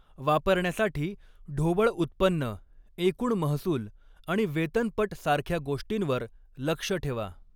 वापरण्यासाठी, ढोबळ उत्पन्न, एकूण महसूल आणि वेतनपट सारख्या गोष्टींवर लक्ष ठेवा.